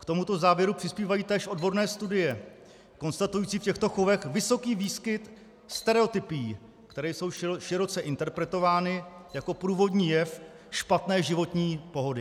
K tomuto závěru přispívají též odborné studie konstatující v těchto chovech vysoký výskyt stereotypií, které jsou široce interpretovány jako průvodní jev špatné životní pohody.